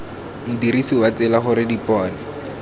modirisi wa tsela gore dipone